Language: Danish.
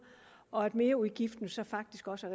og at merudgiften så faktisk også